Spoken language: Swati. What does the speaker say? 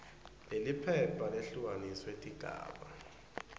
leliphepha lehlukaniswe tigaba